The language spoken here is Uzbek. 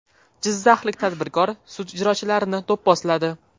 Jizzaxlik tadbirkor sud ijrochilarini do‘pposladi.